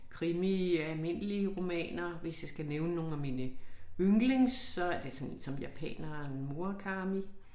Krimi almindelige romaner hvis jeg skal nævne nogle af mine yndlings så det sådan som japaneren Murakami